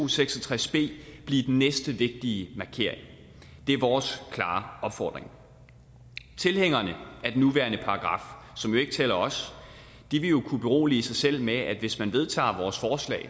seks og tres b blive den næste vigtige markering det er vores klare opfordring tilhængerne af den nuværende paragraf som jo ikke tæller os vil jo kunne berolige sig selv med at hvis man vedtager vores forslag